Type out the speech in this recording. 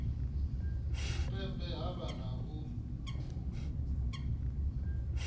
tshipembe ha vha na u